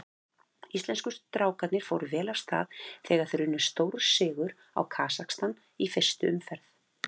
Íslensku strákarnir fóru vel af stað þegar þeir unnu stórsigur á Kasakstan í fyrstu umferð.